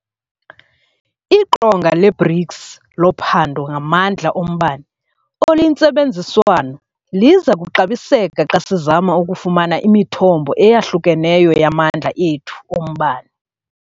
IQonga le-BRICS loPhando ngaMandla oMbane oluyiNtsebenziswano liza kuxabiseka xa sizama ukufumana imithombo eyahlukeneyo yamandla ethu ombane.